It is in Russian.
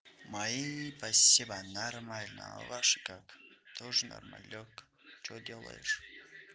мои спасибо нормально а ваши как тоже нормалёк что делаешь